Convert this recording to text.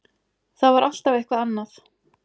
Það var alltaf eitthvað annað.